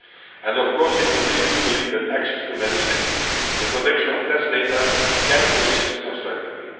it and, of course, we continue to believe that access to medicine and the protection of test data can coexist constructively.